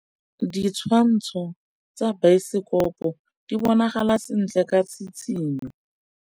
Ditshwantshô tsa biosekopo di bonagala sentle ka tshitshinyô.